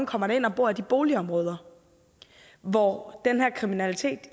kommer ind og bor i de boligområder hvor den her kriminalitet